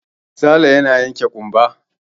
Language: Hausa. Sale yana yanke ƙumba.